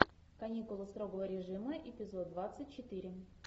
каникулы строгого режима эпизод двадцать четыре